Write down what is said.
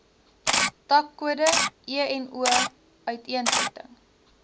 takkode eno uiteensetting